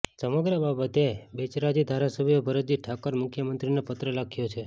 સમગ્ર બાબતે બેચરાજી ધારાસભ્ય ભરતજી ઠાકોર મુખ્યમંત્રીને પત્ર લખ્યો છે